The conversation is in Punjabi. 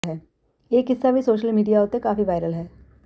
ਇਹ ਕਿੱਸਾ ਵੀ ਸੋਸ਼ਲ ਮੀਡੀਆ ਉੱਤੇ ਕਾਫ਼ੀ ਵਾਇਰਲ ਹੈ